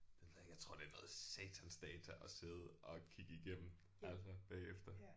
Det ved jeg ikke jeg tror det er noget satans data at sidde og kigge igennem altså bagefter